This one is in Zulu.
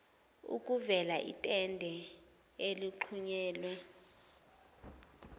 okuveza itende eligxunyekwe